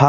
ta